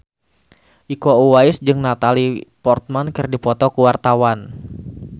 Iko Uwais jeung Natalie Portman keur dipoto ku wartawan